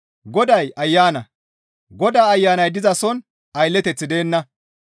Goday Ayana. Godaa Ayanay dizason aylleteththi deenna.